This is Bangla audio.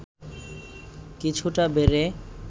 কিছুটা বেড়ে